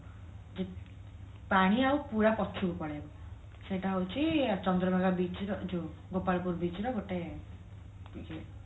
ପାଣି ଆଉ ପୁରା ପଛକୁ ପଳେଇବ ସେଇଟା ହଉଛି ଚନ୍ଦ୍ରଭାଗା beach ର ଏ ଯୋଉ ଗୋପାଳପୁର beach ର ଗୋଟେ ଏ ଯୋଉ